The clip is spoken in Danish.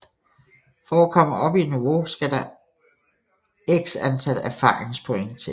For at komme op i niveau skal der x antal erfaringspoint til